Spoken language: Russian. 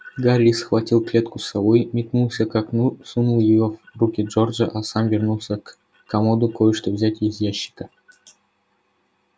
гарри схватил клетку с совой метнулся к окну сунул её в руки джорджа а сам вернулся к комоду кое-что взять из ящика